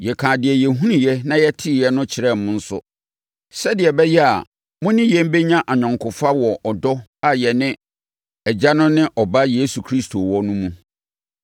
Yɛkaa deɛ yɛhunuiɛ na yɛteeɛ no kyerɛɛ mo nso, sɛdeɛ ɛbɛyɛ a, mo ne yɛn bɛnya ayɔnkofa wɔ ɔdɔ a yɛne Agya no ne Ɔba Yesu Kristo wɔ no mu.